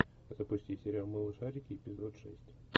запусти сериал малышарики эпизод шесть